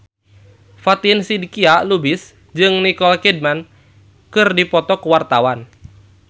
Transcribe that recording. Fatin Shidqia Lubis jeung Nicole Kidman keur dipoto ku wartawan